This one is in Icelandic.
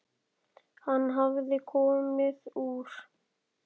Hann hafði komið úr